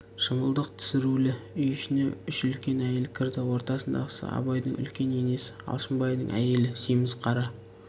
шымылдық түсірулі үй ішіне үш үлкен әйел кірді ортадағысы абайдың үлкен енесі алшынбайдың әйелі семіз қара